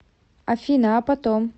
афина а потом